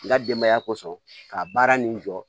N ka denbaya kosɔn ka baara nin jɔ